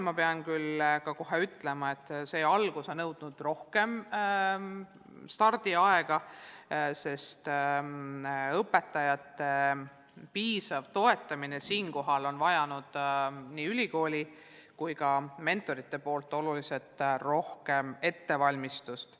Ma pean kohe ütlema, et algus on nõudnud rohkem stardiaega, sest õpetajate piisav toetamine on vajanud nii ülikooli kui ka mentorite poolt oluliselt rohkem ettevalmistust.